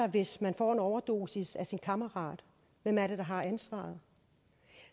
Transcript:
hvis man får en overdosis af sin kammerat hvem er det der har ansvaret